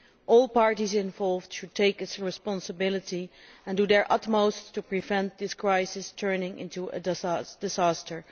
All parties involved should take their responsibility and do their utmost to prevent this crisis from turning into a disaster.